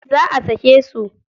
Za a sake su.